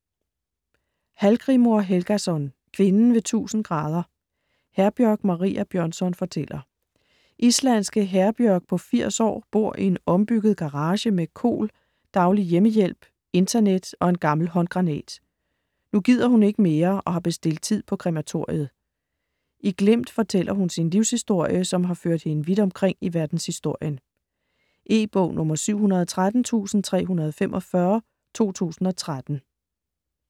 Hallgrímur Helgason: Kvinden ved 1000°: Herbjørg Maria Bjørnsson fortæller Islandske Herbjörg på 80 år bor i en ombygget garage med KOL, daglig hjemmehjælp, internet og en gammel håndgranat. Nu gider hun ikke mere og har bestilt tid på krematoriet. I glimt fortæller hun sin livshistorie, som har ført hende vidt omkring i verdenshistorien. E-bog 713345 2013.